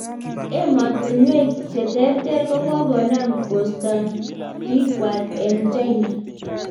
Emetishen cheng terter ko kokonam kostan pikkwang eng China.